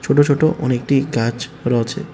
ছোটো ছোটো অনেকটি গাছ রয়েছে।